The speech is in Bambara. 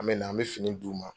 An bɛ na an bɛ fini d' u ma.